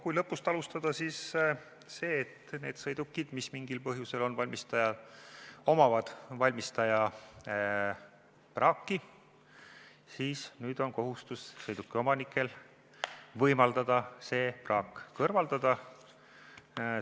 Kui lõpust alustada, siis kui mingil põhjusel on sõiduki juures valmistaja praaki, siis nüüd on sõidukiomanikul kohustus võimaldada, et see praak kõrvaldatakse.